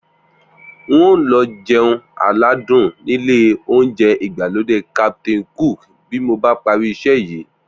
N óò lọ jẹun aládùn nílé oúnjẹ ìgbàlódé Captain Cook bí mo bá parí iṣẹ́ yìí